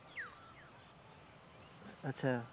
আচ্ছা।